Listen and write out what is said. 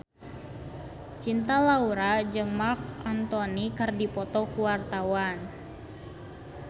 Cinta Laura jeung Marc Anthony keur dipoto ku wartawan